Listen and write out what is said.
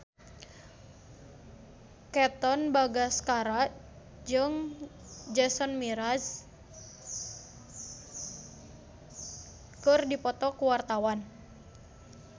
Katon Bagaskara jeung Jason Mraz keur dipoto ku wartawan